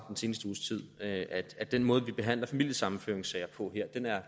den seneste uges tid at at den måde vi behandler familiesammenføringssager på her